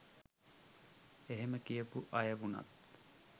එහෙම කියපු අය වුණත්